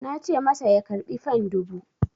Na ce masa ya karɓi fan dubu!